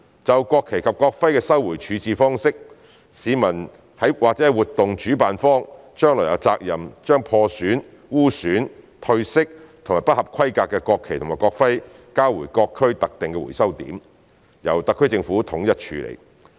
就國旗及國徽的收回處置方式，市民或活動主辦方將來有責任將破損、污損、褪色或不合規格的國旗及國徽交回各區特定的回收點，由特區政府統一處理。